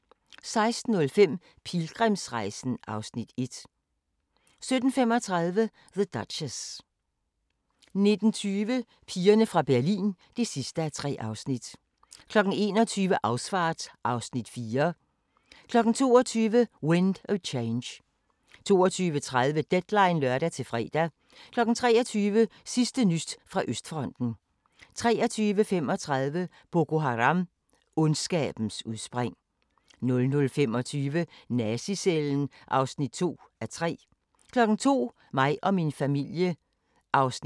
14:10: Den gode, den onde og den Virk'li sjove 14:45: aHA! * 15:25: aHA! * 16:05: Gensyn med Osvald Helmuth 16:55: En by i provinsen (7:17)* 17:50: En by i provinsen (8:17)* 18:45: Huset på Christianshavn (42:84) 19:10: Huset på Christianshavn (43:84) 19:45: Før søndagen 19:55: Dagens sang: Aftensti *